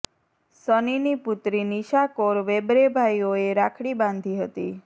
સનીની પુત્રી નિશા કૌર વેબરે ભાઈઓને રાખડી બાંધી હતી